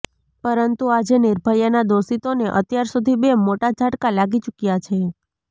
પરંતુ આજે નિર્ભયાના દોષીતોને અત્યાર સુધી બે મોટા ઝટકા લાગી ચુક્યા છે